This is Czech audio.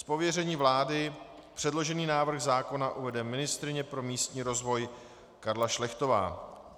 Z pověření vlády předložený návrh zákona uvede ministryně pro místní rozvoj Karla Šlechtová.